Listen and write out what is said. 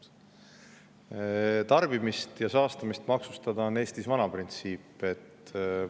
See, et tarbimist ja saastamist maksustatakse, on Eestis vana printsiip.